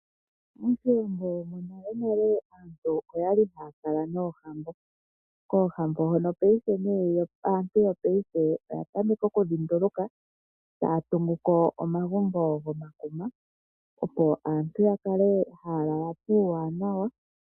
MOshiwambo monalenale aantu oya li haya kala noohambo. Koohambo hono paife, aantu yopaife oya tameka okudhi nduluka taya tungu ko omagumbo gomakuma, opo aantu ya kale haya lala puuwanawa.